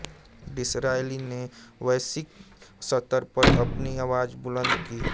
Disraeli ने वैश्विक स्तर पर अपनी आवाज बुलंद की